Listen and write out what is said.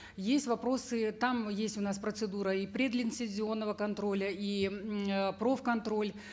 есть вопросы там есть у нас процедура и предлицензионного контроля и э проф контроль